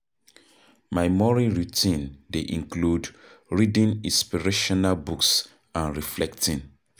My morning routine dey include reading inspirational books and reflecting.